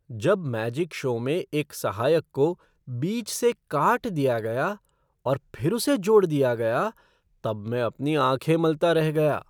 जब magic show में एक सहायक को बीच से काट दिया गया और फिर उसे जोड़ दिया गया तब मैं अपनी आँखें मलता रह गया।